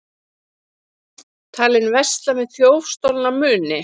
Talinn versla með þjófstolna muni